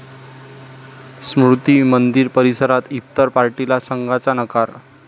स्मृती मंदिर परिसरात इफ्तार पार्टीला संघाचा नकार!